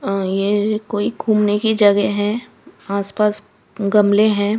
आह्ह ये कोई घुमने की जगह है आस पास गमले हैं।